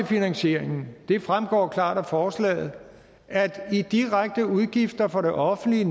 finansieringen det fremgår klart af forslaget at i direkte nettoudgifter for det offentlige